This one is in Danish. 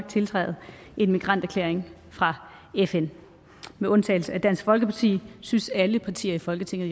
tiltræde en migranterklæring fra fn med undtagelse af dansk folkeparti synes alle partier i folketinget